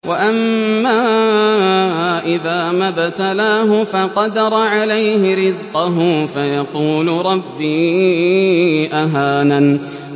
وَأَمَّا إِذَا مَا ابْتَلَاهُ فَقَدَرَ عَلَيْهِ رِزْقَهُ فَيَقُولُ رَبِّي أَهَانَنِ